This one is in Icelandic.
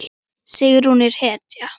Sigrún er hetja!